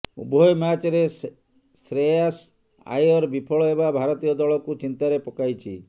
ଉଭୟ ମ୍ୟାଚ୍ରେ ଶେୟାସ ଆୟର ବିଫଳ ହେବା ଭାରତୀୟ ଦଳକୁ ଚିନ୍ତାରେ ପକାଇଛି